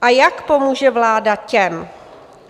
A jak pomůže vláda těm?